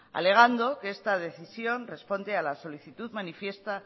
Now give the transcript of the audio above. alegando que esta decisión responde a la solicitud